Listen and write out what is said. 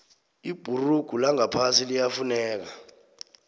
ibhurugu langaphasi liyafuneka